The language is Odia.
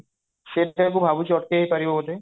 ସେଇଟାକୁ ଭାବୁଛି ଅଟକା ଯାଇ ପାରିବ ବୋଧେ?